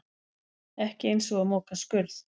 Ekki eins og að moka skurð